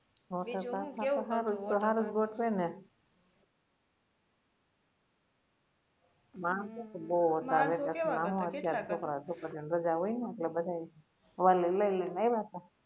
waterpark માં તો હારુ તો હારુ જ ગોઠવે ને માણસો તો બઉ વધારે છોકરા છોકરી ઓ ને રજા હોય ને એટલે બધા વાલી લઇ ને આયવા તા